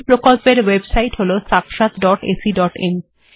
এই প্রকল্পের ওএবসাইট্ হল sakshatacআইএন